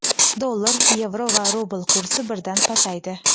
Dollar, yevro va rubl kursi birdan pasaydi.